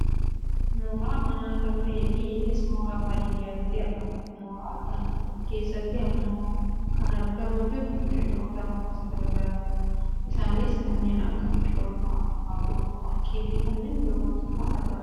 mooraa mana naaa kanta'eefi innis mooraa baadiyyaatti argamudha. mooraa kana keessatti ammoo kan argamaa jiru biqiltoota gosa gara garaati. isaanis kanneen akka biqiltuu abukaadoo, warqee fi kanneen birrootu kan argamudha.